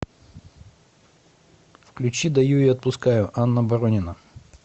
включи даю и отпускаю анна боронина